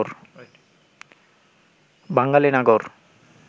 বাঙালি নাগর